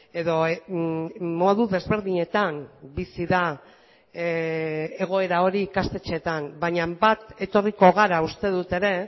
edo modu desberdinetan bizi da egoera hori ikastetxeetan baina bat etorriko gara uste dut ere